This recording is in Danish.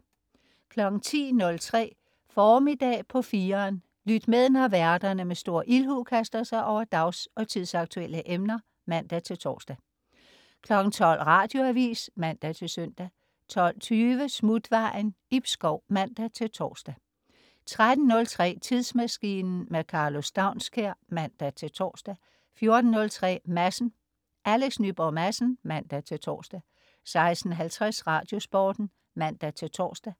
10.03 Formiddag på 4'eren. Lyt med, når værterne med stor ildhu kaster sig over dags- og tidsaktuelle emner (man-tors) 12.00 Radioavis (man-søn) 12.20 Smutvejen Ib Schou (man-tors) 13.03 Tidsmaskinen. Karlo Staunskær (man-tors) 14.03 Madsen. Alex Nyborg Madsen (man-tors) 16.50 Radiosporten (man-tors)